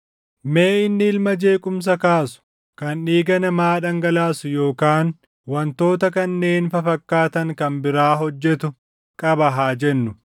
“Mee inni ilma jeequmsa kaasu kan dhiiga namaa dhangalaasu yookaan wantoota kanneen fafakkaatan kan biraa hojjetu qaba haa jennu;